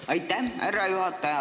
Aitäh, härra juhataja!